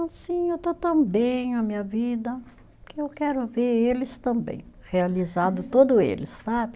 Assim, eu estou tão bem a minha vida que eu quero ver eles também, realizado todo eles, sabe?